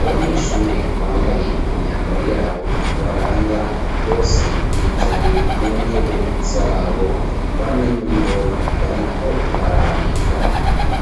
Abanyeshure bambaye imyambaro y'abo ibaranga, bose bicaye mu ntebe z'abo, bamwe muri bo bariko barandika.